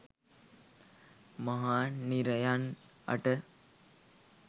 මහා නිරයන් අට